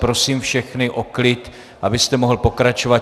Prosím všechny o klid, abyste mohl pokračovat.